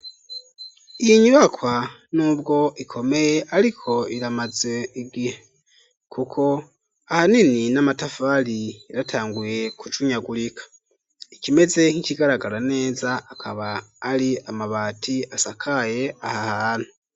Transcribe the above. Iyi nyubakwa ,n'ubwo ikomeye, ariko iramaze igihe, kuko ahanini, n'amatafari yaratanguye kujunyagurika, ikimeze nk'ikigaragara neza, akaba ari amabati asakaye aha hahantu.